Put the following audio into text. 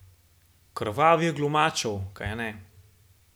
Krvavih glumačev, kajne.